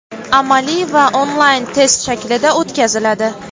amaliy va onlayn test shaklida o‘tkaziladi.